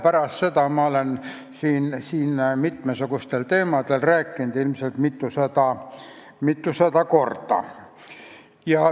Pärast seda olen ma siin mitmesugustel teemadel rääkinud, kokku ilmselt mitusada korda.